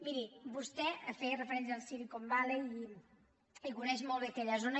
miri vostè feia referència al silicon valley i coneix molt bé aquella zona